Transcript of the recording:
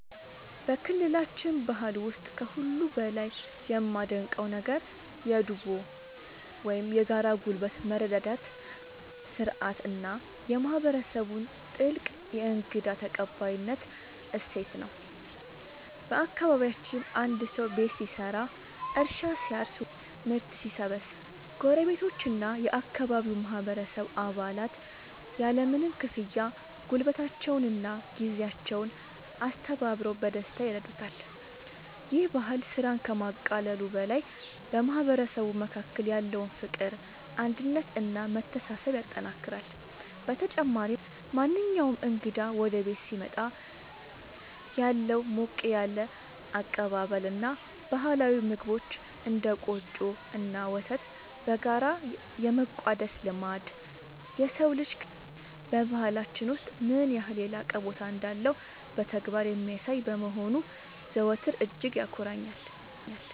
በክልላችን ባህል ውስጥ ከሁሉ በላይ የማደንቀው ነገር የ"ዱቦ" (Dubo) ወይም የጋራ ጉልበት መረዳዳት ሥርዓት እና የማህበረሰቡን ጥልቅ የእንግዳ ተቀባይነት እሴት ነው። በአካባቢያችን አንድ ሰው ቤት ሲሰራ፣ እርሻ ሲያርስ ወይም ምርት ሲሰበስብ ጎረቤቶችና የአካባቢው ማህበረሰብ አባላት ያለምንም ክፍያ ጉልበታቸውንና ጊዜያቸውን አስተባብረው በደስታ ይረዱታል። ይህ ባህል ስራን ከማቃለሉ በላይ በማህበረሰቡ መካከል ያለውን ፍቅር፣ አንድነት እና መተሳሰብ ያጠናክራል። በተጨማሪም፣ ማንኛውም እንግዳ ወደ ቤት ሲመጣ ያለው ሞቅ ያለ አቀባበል እና ባህላዊ ምግቦችን (እንደ ቆጮ እና ወተት) በጋራ የመቋደስ ልማድ፣ የሰው ልጅ ክብር በባህላችን ውስጥ ምን ያህል የላቀ ቦታ እንዳለው በተግባር የሚያሳይ በመሆኑ ዘወትር እጅግ ያኮራኛል።